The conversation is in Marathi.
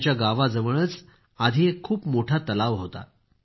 त्यांच्या गावाजवळच आधी एक खूप मोठा तलाव होता